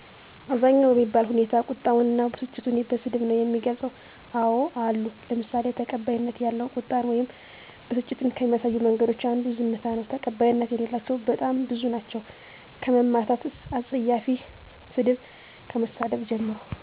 አብዛኛው በሚባል ሁኔታ ቁጣውን እና በስጭቱን በስድብ ነው የሚገልፀው። አዎ አሉ ለምሳሌ ተቀባይነት ያለው ቁጣን ወይም በስጭትን ከሚያሳዩ መንገዶች አንዱ ዝምታ ነው። ተቀባይነት የሌላቸው በጣም ብዙ ናቸው ከመማታት አፀያፊ ሰድብ ከመሳደብ ጀምሮ።